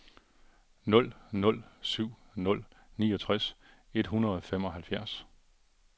nul nul syv nul niogtres et hundrede og femoghalvfjerds